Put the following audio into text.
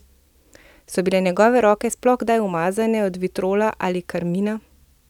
So bile njegove roke sploh kdaj umazane od vitriola ali karmina?